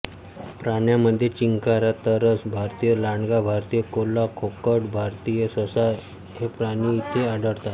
प्राण्यांमध्ये चिंकारा तरस भारतीय लांडगा भारतीय कोल्हा खोकड भारतीय ससा हे प्राणी इथे आढळतात